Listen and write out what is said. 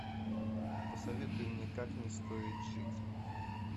посоветуй мне как не стоит жить